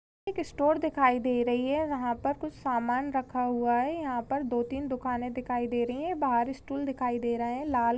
एक स्टोर दिखाई दे रही है वहाँ पर कुछ सामान रखा हुआ है यहाँ पर दो तीन दुकानें दिखाई दे रही है बाहर स्टूल दिखाई दे रहा है लाल--